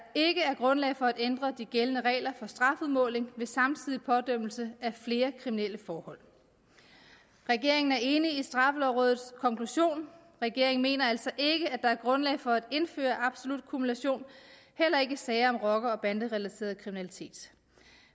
ikke er grundlag for at ændre de gældende regler for strafudmåling ved samtidig pådømmelse af flere kriminelle forhold regeringen er enig i straffelovrådets konklusion regeringen mener altså ikke at der er grundlag for at indføre absolut kumulation heller ikke i sager om rocker og banderelateret kriminalitet